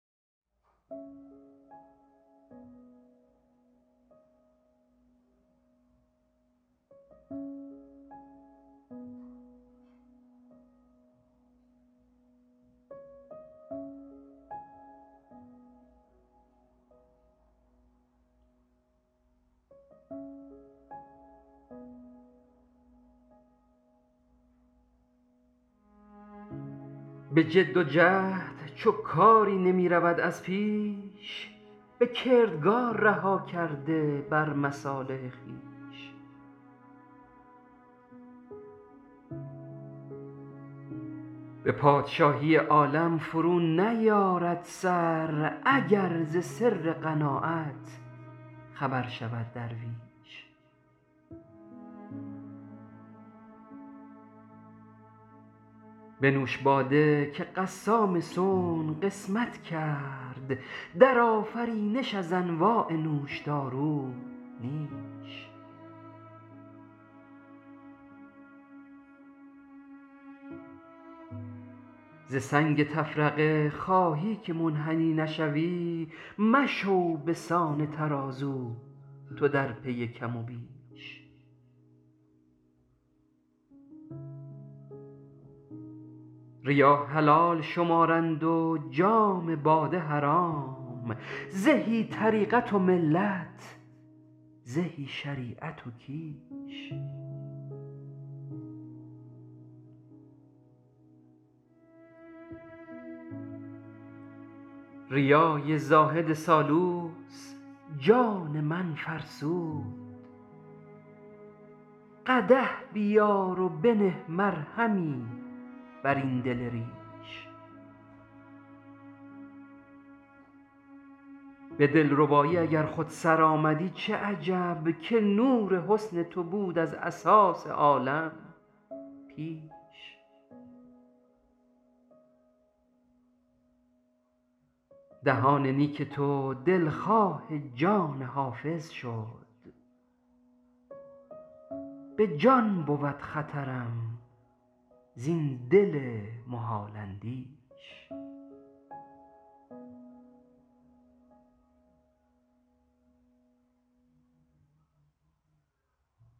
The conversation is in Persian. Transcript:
به جد و جهد چو کاری نمی رود از پیش به کردگار رها کرده به مصالح خویش به پادشاهی عالم فرو نیارد سر اگر ز سر قناعت خبر شود درویش بنوش باده که قسام صنع قسمت کرد در آفرینش از انواع نوشدارو نیش ز سنگ تفرقه خواهی که منحنی نشوی مشو بسان ترازو تو در پی کم و بیش ریا حلال شمارند و جام باده حرام زهی طریقت و ملت زهی شریعت و کیش ریای زاهد سالوس جان من فرسود قدح بیار و بنه مرهمی بر این دل ریش به دلربایی اگر خود سرآمدی چه عجب که نور حسن تو بود از اساس عالم پیش دهان نیک تو دلخواه جان حافظ شد به جان بود خطرم زین دل محال اندیش